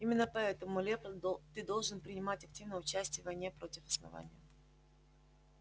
именно поэтому лепольд ты должен принимать активное участие в войне против основания